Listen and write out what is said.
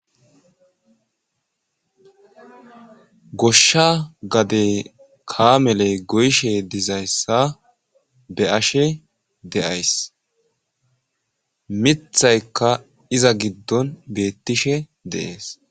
Goshsha gadey kaameley goyishe dizayssa be ashe deays mithaykka iza giddon beettishe deees.